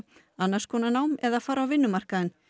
annars konar nám eða fara á vinnumarkaðinn